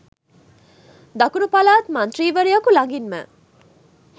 දකුණු පළාත් මන්ත්‍රීවරයකු ළඟින්ම